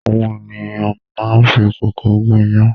Àwọn ènìyàn máá ń fi kókò gún iyán